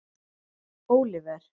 Óliver